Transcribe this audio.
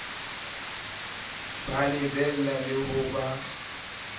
ba lebella le ho ba